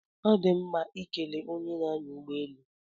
Ọ dị mma ikele onye na-anya ụgbọelu